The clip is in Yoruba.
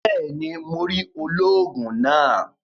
Béèni, Mó rí olóògùn náà